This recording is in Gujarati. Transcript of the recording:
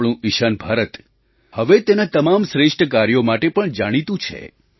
આપણું ઈશાન ભારત હવે તેનાં તમામ શ્રેષ્ઠ કાર્યો માટે પણ જાણીતું છે